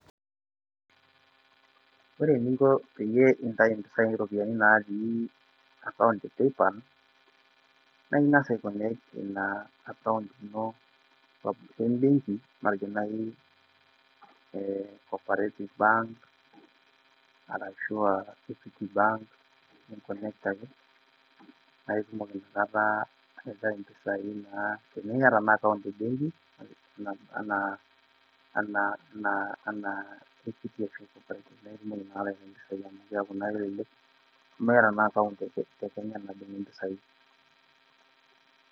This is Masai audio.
Ore eninko naaji pee intai iropiani natii akaount e Paypal, naa ing'as aikonekt ina akaount ino we mbengi matejo naai, Cooperative bank arashu um Equity bank, ninkonekt ake paa itumoki ina kata aitai impisai naa tenimiata naji akaout e mbengi anaa Equity anaa Cooperative naa itumoki nemeeta naa akaount te kenya najing impisai.